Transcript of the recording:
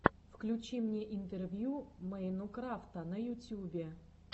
включи мне интервью мэйнукрафта на ютьюбе